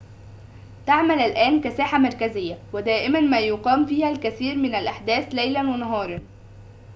تعمل الآن كساحة مركزية ودائماً ما يقام فيها الكثير من الأحداث ليلاً ونهاراً